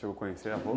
conhecer